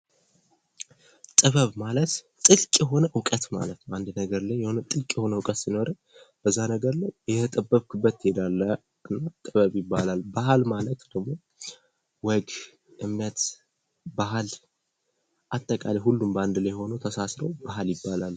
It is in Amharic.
ጥበብ ማለት ጥልቅ የሆነ ዕውቀት ማለት ነው። በአንድ ነገር ላይ የሆነ ጥልቅ የሆነ እውቀት ሲኖርህ በዛ ነገር ላይ እየተጠበብክበት ትሄዳለህ ጥበብ ይባላል። ባህል ማለት ደግሞ ወግ ፣ እምነት፣ ባህል አጠቃላይ ሁሉም በአንድ ላይ ሆኖ ተሳስረው ባህል ይባላል።